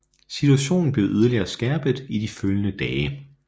Situationen blev yderligere skærpet i de følgende dage